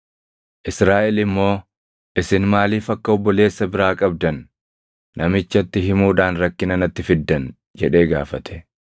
Israaʼel immoo, “Isin maaliif akka obboleessa biraa qabdan namichatti himuudhaan rakkina natti fiddan?” jedhee gaafate.